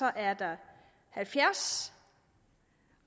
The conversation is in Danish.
er der halvfjerds